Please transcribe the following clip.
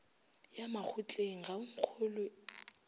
ya makgotleng ga o nkgolwe